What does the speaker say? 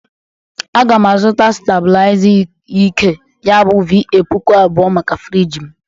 Aga m azụta stabụlịaza ike ya bụ VA pụkụ abụo maka friji m